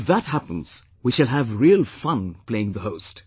If that happens, we shall have real fun playing the host